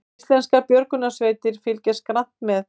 Íslenskar björgunarsveitir fylgjast grannt með